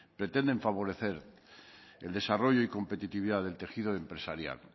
pretenden favorecer el desarrollo y competitividad del tejido empresarial